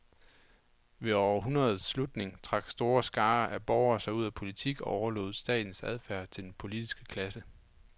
Ved århundredets slutning trak store skarer af borgere sig ud af politik og overlod statens affærer til den politiske klasse.